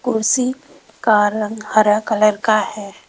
कुर्सी का रंग हरा कलर का है।